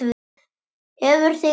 Hefur þig dreymt?